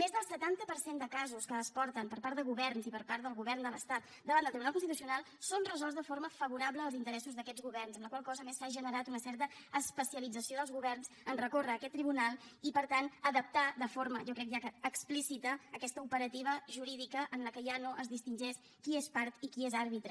més del setanta per cent de casos que es porten per part de governs i per part del govern de l’estat davant del tribunal constitucional són resolts de forma favorable als interessos d’aquests governs amb la qual cosa a més s’ha generat una certa especialització dels governs a recórrer a aquest tribunal i per tant a adaptar de forma jo crec ja que explícita aquesta operativa jurídica en què ja no es distingeix qui és part i qui és àrbitre